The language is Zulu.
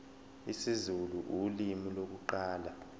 isizulu ulimi lokuqala